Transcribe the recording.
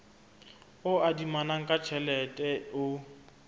o adimanang ka tjhelete o